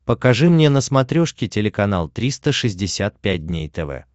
покажи мне на смотрешке телеканал триста шестьдесят пять дней тв